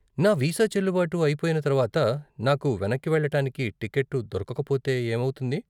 నా వీసా చెల్లుబాటు అయిపొయిన తర్వాత నాకు వెనక్కి వెళ్ళటానికి టికెట్టు దొరకకపోతే ఏమౌతుంది?